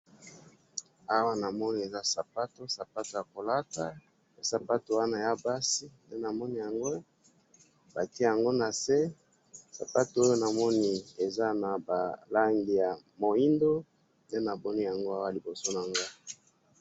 awa namani eza sapato, sapato yakolata sapato wana yabasi nde namoni yango batiyango nase sapato oyo namoni eza naba langi ya muyindo ndenamoni liboso na nga